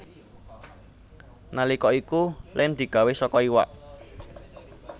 Nalika iku lem digawé saka iwak